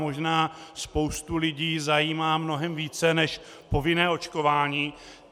Možná spoustu lidí zajímá mnohem více než povinné očkování.